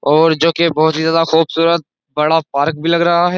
और जो कि बहुत ही ज्यादा खुबसूरत बड़ा पार्क भी लग रहा है।